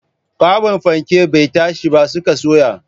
Kwaɓin fanken bai tashi ba sun ka soya